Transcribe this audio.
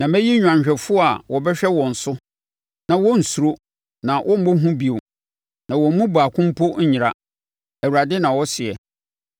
Na mɛyi nnwanhwɛfoɔ a wɔbɛhwɛ wɔn so, na wɔrensuro na wɔremmɔ hu bio na wɔn mu baako mpo renyera.” Awurade na ɔseɛ.